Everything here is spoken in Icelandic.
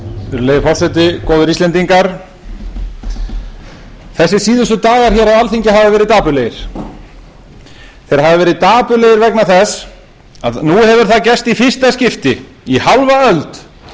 virðulegi forseti góðir íslendingar þessir síðustu dagar hér á alþingi hafa verið dapurlegir þeir hafa verið dapurlegir vegna þess að nú hefur það gerst í fyrsta skipti í hálfa öld